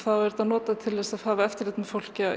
er þetta notað til að hafa eftirlit með fólki